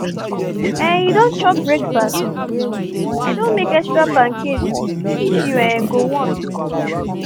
um you don chop breakfast? i don make extra pancake if you um go want